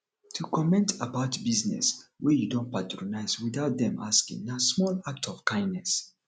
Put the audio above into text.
to comment about business wey you don patronise without dem asking na small act of kindness